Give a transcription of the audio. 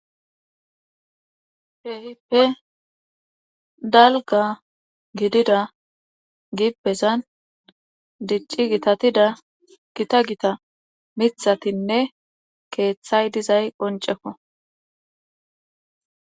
Kehippe dalga gidida gibbezan dicci gitatida gita gita mithatinne keeththay dizay qonceko.